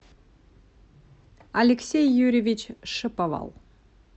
алексей юрьевич шиповал